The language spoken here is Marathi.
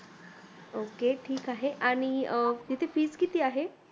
Ok ठीक आहे आणि तिथे fees किती आहे?